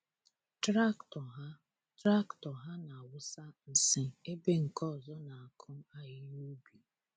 Traktọ ha Traktọ ha na-awụsa nsị ebe nke ọzọ na-akụ ahịhịa ubi.